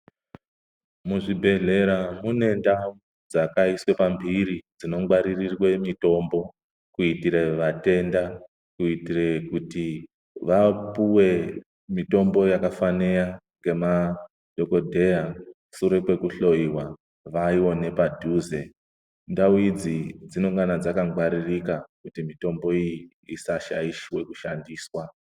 Muzvibhedhlera munentawo dzakaiswe pambiri dzinongwarirwe mitombo kuitire vatenda ,kuitire kuti vapuwe mitombo yakafanira namadhokodheya sure kwekuhloriwa vayiwane padhuze. Ntawo idzi dzinongani kugaradzakangwaririka kuti mitombo iyi isashayiswe kushandiswa.